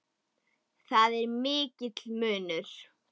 Þar er mikill munur.